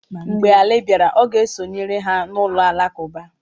Mgbe Ali bịara, ọ ga-esonyere ha na ụlọ alakụba.